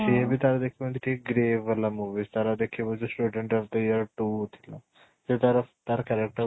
ସିଏବି ତାର ଦେଖିବୁ ଠିକ ଏମିତି ଠିକ grave movies ତାର ଦେଖିବୁ ଯୋଉ student of the year two ଥିଲା ସେ ତାର ତାର character